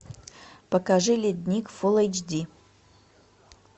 покажи ледник фулл эйч ди